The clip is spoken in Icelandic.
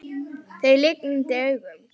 Það lygndi augum.